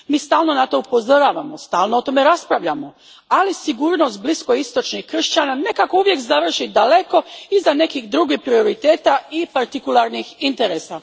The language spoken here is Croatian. Mi stalno na to upozoravamo, stalno o tome raspravljamo, ali sigurnost bliskoistočnih kršćana nekako uvijek završi daleko iza nekih drugih prioriteta i partikularnih interesa.